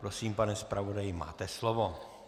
Prosím, pane zpravodaji, máte slovo.